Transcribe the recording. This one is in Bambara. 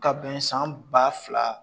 Ka bɛn san ba fila